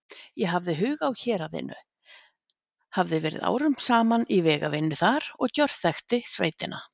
Ég hafði hug á héraðinu, hafði verið árum saman í vegavinnu þar og gjörþekkti sveitina.